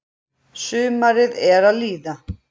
Sumarið er að líða.